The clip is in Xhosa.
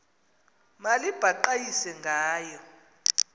mali baqhayisa ngayo